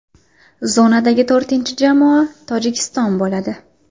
Zonadagi to‘rtinchi jamoa Tojikiston bo‘ladi.